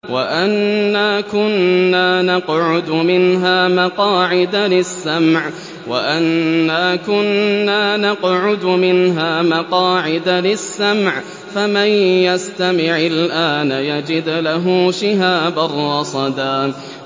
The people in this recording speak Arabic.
وَأَنَّا كُنَّا نَقْعُدُ مِنْهَا مَقَاعِدَ لِلسَّمْعِ ۖ فَمَن يَسْتَمِعِ الْآنَ يَجِدْ لَهُ شِهَابًا رَّصَدًا